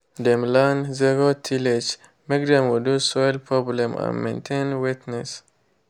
dem learned zero tillage make dem reduce soil problem and maintain wetness.